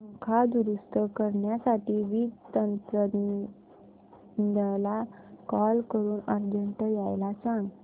पंखा दुरुस्त करण्यासाठी वीज तंत्रज्ञला कॉल करून अर्जंट यायला सांग